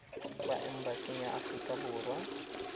kwa embasing ya aforika borwa